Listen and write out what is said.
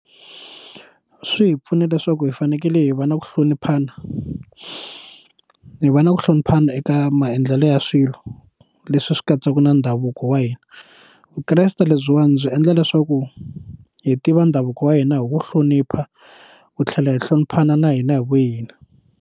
Swi hi pfune leswaku hi fanekele hi va na ku hloniphana hi va na ku hloniphana eka maendlelo ya swilo leswi swi katsaka na ndhavuko wa hina vukreste lebyiwani byi endla leswaku hi tiva ndhavuko wa hina hi wu hlonipha wu tlhela hi hloniphana na hina hi vu hina.